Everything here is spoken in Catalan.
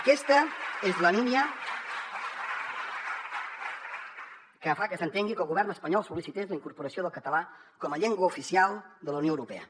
aquesta és la línia que fa que s’entengui que el govern espanyol sol·licités la incorporació del català com a llengua oficial de la unió europea